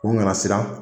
U nana siran